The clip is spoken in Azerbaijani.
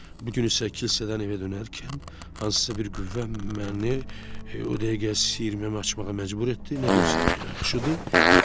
Bu gün isə kilsədən evə dönərkən hansısa bir qüvvə məni o dəqiqə siyirməmi açmağa məcbur etdi, nə görsəm yaxşıdır?